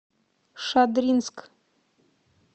шадринск